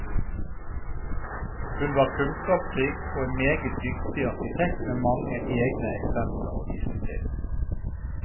Hun var kunnskapsrik og en meget dyktig arkitekt med mange egne eksempler å vise til.